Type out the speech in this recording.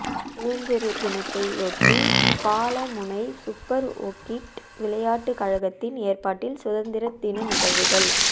சுதந்திர தினத்தையொட்டி பாலமுனை சுப்பர் ஓக்கிட் விளையாட்டுக் கழகத்தின் எற்பாட்டில் சுதந்திர தின நிகழ்வுகள்